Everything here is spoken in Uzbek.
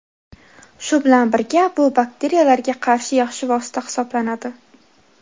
Shu bilan birga bu bakteriyalarga qarshi yaxshi vosita hisoblanadi.